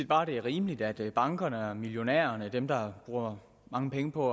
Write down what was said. bare at det er rimeligt at bankerne og millionærerne dem der bruger mange penge på